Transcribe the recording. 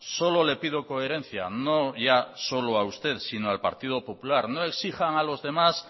solo le pido coherencia no ya solo a usted sino al partido popular no exijan a los demás